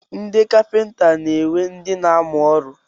Ndị kapịnta na-enwe ndị na-amụ ọrụ.